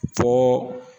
Fo